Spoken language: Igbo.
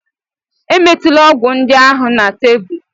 Emetula ọgwụ ndị ahụ na tebụl!